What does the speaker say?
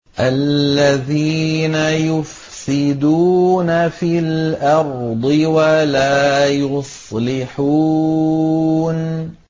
الَّذِينَ يُفْسِدُونَ فِي الْأَرْضِ وَلَا يُصْلِحُونَ